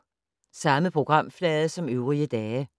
Samme programflade som øvrige dage